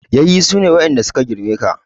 Yayye su ne waɗanda su ka girme ka.